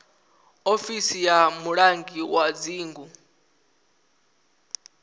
ofisi ya mulangi wa dzingu